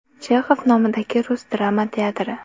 Chexov nomidagi rus drama teatri.